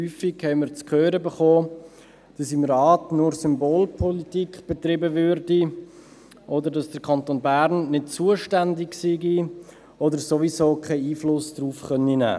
Häufig bekamen wir zu hören, dass im Rat nur Symbolpolitik betrieben werde oder dass der Kanton Bern nicht zuständig sei oder sowieso keinen Einfluss darauf nehmen könne.